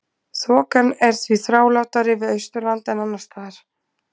Þokan er því þrálátari við Austurland en annars staðar.